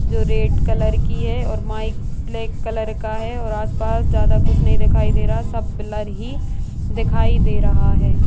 जो red colour की है और माइक ब्लैक कलर का है और आस-पास ज्यादा कुछ नहीं दे रहा है सब ब्लर ही दिखाई दे रहा है ।